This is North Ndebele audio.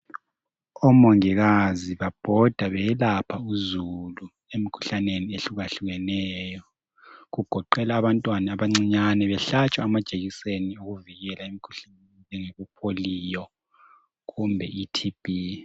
Omongikazi babhoda beyelapha umzukulu emkhuhlaneni ehlukahlukeneyo kugoqela abantwana abancane behlatshwa amajekiseni okuvikela emikhuhlaneni wepolio kumbe i TB